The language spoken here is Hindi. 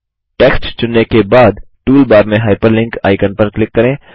टेक्स्ट चुनने के बाद टूलबार में हाइपरलिंक आइकन पर क्लिक करें